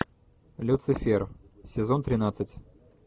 люцифер сезон тринадцать